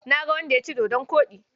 Na ga wanda ya ci dodon koɗi.